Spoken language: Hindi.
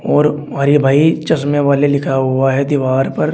और हरि भाई चश्मे वाले लिखा हुआ है दीवार पर।